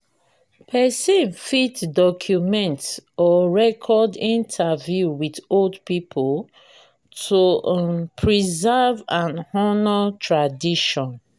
person fit document or record interview with old pipo to um preserve and honor tradition